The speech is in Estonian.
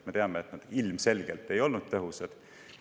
Me teame, et nad ilmselgelt ei olnud tõhusad.